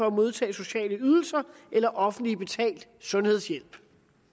modtage sociale ydelser eller offentligt betalt sundhedshjælp